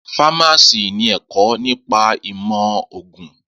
Fámásì ni ẹ̀kọ́ nípa ìmọ̀ ògùn